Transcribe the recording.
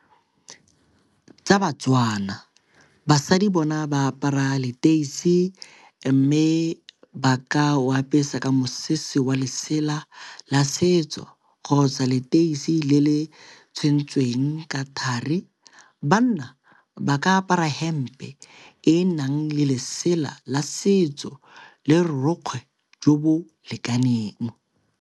Tsa baTswana, basadi bona ba apara leteisi mme ba ka wa apese ka mosese wa lesela la setso kgotsa leteisi le le tshwentsweng ka thari. Banna ba ka apara di hempe e e nang le lesela la setso le re borokgwe jo bo lekaneng.